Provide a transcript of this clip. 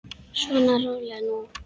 Svona, rólegur nú.